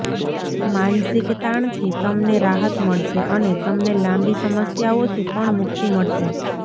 માનસિક તાણથી તમને રાહત મળશે અને તમને લાંબી સમસ્યાઓથી પણ મુક્તિ મળશે